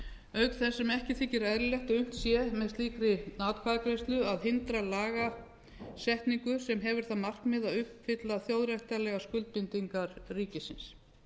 auk þess sem ekki þykir eðlilegt að unnt sé með slíkri atkvæðagreiðslu að hindra lagasetningu sem hefur það markmið að uppfylla þjóðréttarlegar skuldbindingar ríkisins